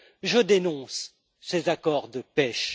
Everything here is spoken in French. Je dénonce ces accords de pêche.